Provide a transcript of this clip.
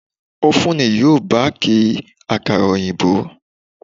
Ófúnù yóò Báàkì àkàrà òyìnbó.